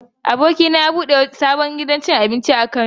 Abokina ya bude sabon wurin abinci a Kano.